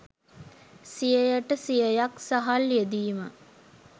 සියයට සියයක් සහල් යෙදීම